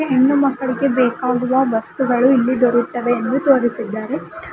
ಹೆಣ್ಣು ಮಕ್ಕಳಿಗೆ ಬೇಕಾಗುವ ವಸ್ತುಗಳು ಇಲ್ಲಿ ದೊರೆಯುತ್ತವೆ ಎಂದು ತೋರಿಸಿದ್ದಾರೆ.